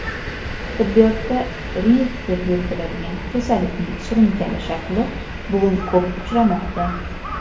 tibbiyotda "rinit" deb yuritiladigan kasallikning surunkali shakli bugun ko‘p uchramoqda.